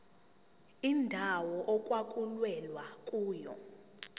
indawo okwakulwelwa kuyona